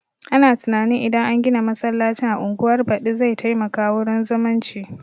Ana tunanin idan an gina masallacin a unguwar badi zai taimaka wurin zumunci